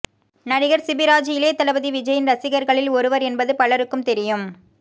நடிகர் சிபிராஜ் இளையதளபதி விஜய்யின் ரசிகர்களில் ஒருவர் என்பது பலருக்கும் தெரியும்